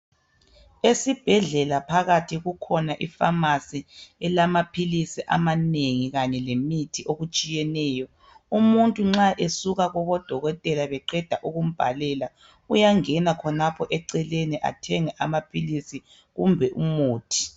Esibhedlela phakathi kukhona ifamasi elamaphilisi amanengi kanye lemithi okutshiyeneyo. Umuntu nxa esuka kubodokotela beqeda ukumbhalela uyangena khonapho eceleni athenge amaphilisi kumbe umuthi.